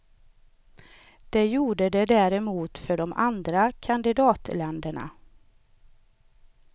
Det gjorde det däremot för de andra kandidatländerna.